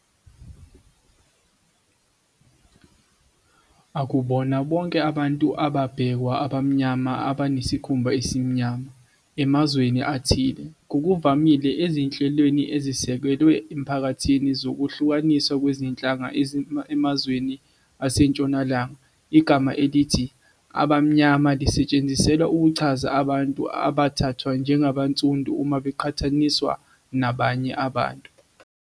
Akubona bonke abantu ababhekwa "abamnyama" abanesikhumba esimnyama, emazweni athile, ngokuvamile ezinhlelweni ezisekelwe emphakathini zokuhlukaniswa kwezinhlanga emazweni aseNtshonalanga, igama elithi "abamnyama" lisetshenziselwa ukuchaza abantu abathathwa njengabansundu uma beqhathaniswa nabanye abantu.